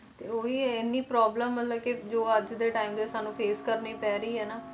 ਤੇ ਉਹੀ ਹੈ ਇੰਨੀ problem ਮਤਲਬ ਕਿ ਜੋ ਅੱਜ ਦੇ time 'ਚ ਸਾਨੂੰ face ਕਰਨੀ ਪੈ ਰਹੀ ਹੈ ਨਾ